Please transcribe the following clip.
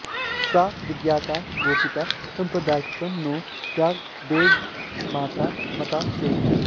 सा विज्ञाता गोपिता सम्प्रदायात्किं नो दद्याद्वेदमाता मता चेत्